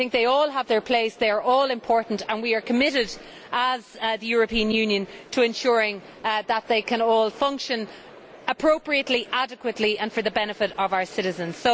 They all have their place, they are all important and we are committed as the European Union to ensuring that they can all function appropriately, adequately and for the benefit of our citizens.